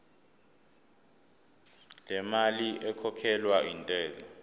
lemali ekhokhelwa intela